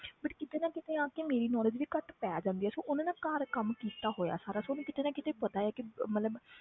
But ਕਿਤੇ ਨਾ ਕਿਤੇ ਆ ਕੇ ਮੇਰੀ knowledge ਵੀ ਘੱਟ ਪੈ ਜਾਂਦੀ ਹੈ ਸੋ ਉਹਨੇ ਨਾ ਘਰ ਕੰਮ ਕੀਤਾ ਹੋਇਆ ਸਾਰਾ ਸੋ ਉਹਨੂੰ ਕਿਤੇ ਨਾ ਕਿਤੇ ਪਤਾ ਆ ਕਿ ਅਹ ਮਤਲਬ